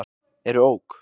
eru OK!